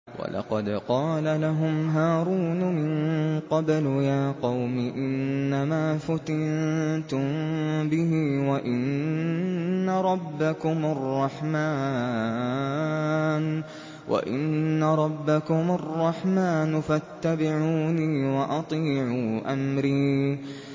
وَلَقَدْ قَالَ لَهُمْ هَارُونُ مِن قَبْلُ يَا قَوْمِ إِنَّمَا فُتِنتُم بِهِ ۖ وَإِنَّ رَبَّكُمُ الرَّحْمَٰنُ فَاتَّبِعُونِي وَأَطِيعُوا أَمْرِي